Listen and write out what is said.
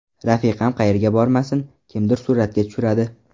Rafiqam qayerga bormasin, kimdir suratga tushiradi.